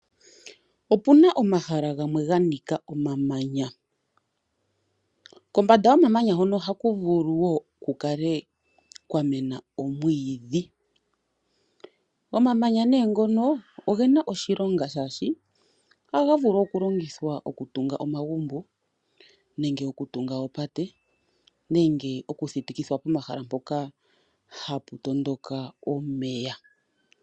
Opuna omahala gamwe ga nika omamanya. Kombanda yomamanya hono ohaku vulu wo ku kale kwa mena omwiidhi. Omamanya nee ngono ogena oshilonga shaashi ohaga vulu okulongithwa okutunga omagumbo nenge okutunga oopate nenge okuthitikithwa pomahala mpoka hapu tondoka omeya.